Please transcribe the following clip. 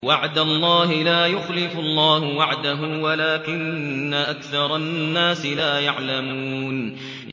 وَعْدَ اللَّهِ ۖ لَا يُخْلِفُ اللَّهُ وَعْدَهُ وَلَٰكِنَّ أَكْثَرَ النَّاسِ لَا يَعْلَمُونَ